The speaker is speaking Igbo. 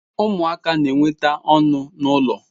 Umuaka na-enweta onu na ulo